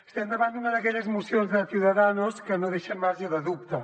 estem davant d’una d’aquelles mocions de ciudadanos que no deixen marge de dubte